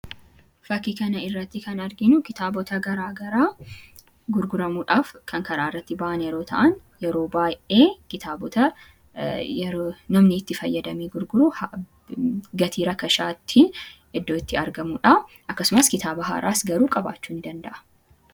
Fakkii kanarratti kan arginu kitaabota garaagaraa gurguramuudhaaf kan karaarratti bahan yeroo ta'an, yeroo baay'ee kitaabota namni itti fayyadamee gurguru gatii rakasaatiin iddoo itti argamudha. Akksumas kitaaba haaraas qabaachuu ni danda'a.